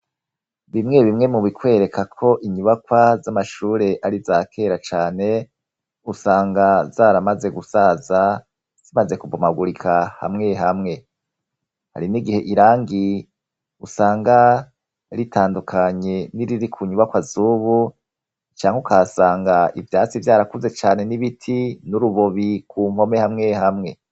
Bimwe bimwe mu bikwereka ko inyubakwa z'amashure ari iza kera cane usanga zaramaze gusaza, zimaze kubomagurika hamwe hamwe . Hari n'igihe irangi usanga ritandukanye n'iriri ku nyubakwa z'ubu canke ukahasanga ivyatsi vyarakuze cane n'ibiti, n'urubobi ku mpome hamwe hamwe